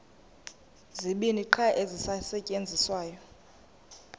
zibini qha ezisasetyenziswayo